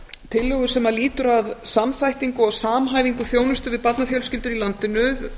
tillögu sem lýtur að samþættingu og samhæfingu þjónustu við barnafjölskyldur í landinu